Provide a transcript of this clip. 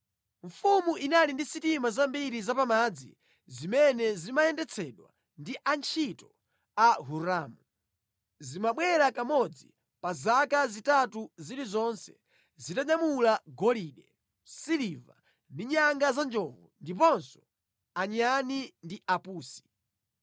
Mfumu inali ndi sitima zambiri zapamadzi zimene zimayendetsedwa ndi antchito a Hiramu. Zimabwera kamodzi pa zaka zitatu zilizonse zitanyamula golide, siliva ndi nyanga za njovu, ndiponso anyani ndi apusi.